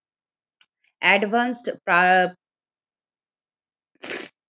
Advanced